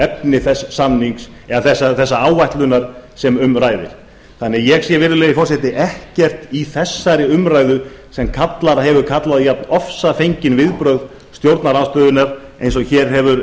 efni þess samnings eða þessarar áætlunar sem um ræðir ég sé því virðulegi forseti ekkert í þessari umræðu sem hefur kallað á jafnofsafengin viðbrögð stjórnarandstöðunnar og hér hefur